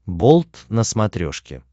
болт на смотрешке